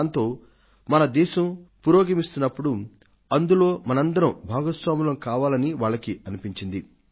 దానితో మన దేశం పురోగమిస్తున్నప్పుడు అందులో మనందరం భాగస్వాములం కావాలని వాళ్లకీ అనిపించింది